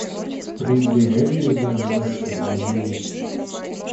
привередливая мышка набери